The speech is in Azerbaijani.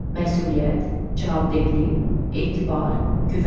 Məsuliyyət, cavabdehlik, etibar, güvən.